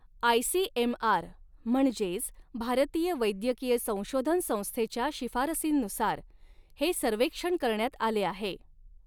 ICMR म्हणजेच भारतीय वैद्यकीय संशोधन संस्थेच्या शिफारसींनुसार हे सर्व्हेक्षण करण्यात आले आहे.